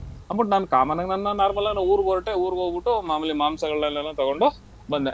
ಆಹ್ but ನಾನ್ common ಆಗ್ ನಾನ್ ನಾನ್ normal ಆಗ್ ನಾನ್ ಊರಿಗ್ ಹೊರ್ಟೆ ಊರಿಗ್ ಹೋಗ್ಬಿಟ್ಟು ಮಾಮೂಲಿ ಮಾಂಸಗಳನ್ನೆಲ್ಲಾ ತಗೊಂಡು ಬಂದೆ.